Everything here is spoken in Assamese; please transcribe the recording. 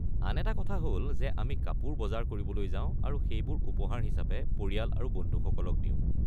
আন এটা কথা হ'ল যে আমি কাপোৰৰ বজাৰ কৰিবলৈ যাও আৰু সেইবোৰ উপহাৰ হিচাপে পৰিয়াল আৰু বন্ধুসকলক দিওঁ।